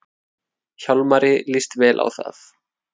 Hjálmari líst vel á það.